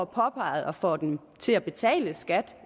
påpeget og får dem til at betale skat